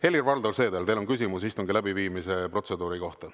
Helir-Valdor Seeder, teil on küsimus istungi läbiviimise protseduuri kohta.